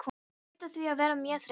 Hún hlaut því að vera mjög þreytt.